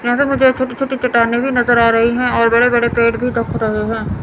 जैसे मुझे छोटी छोटी चट्टाने भी नजर आ रही हैं और बड़े बड़े पेड़ भी रहे हैं।